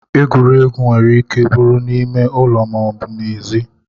Egwuregwu nwere ike bụrụ n'ime ụlọ ma ọ bụ n'ezi.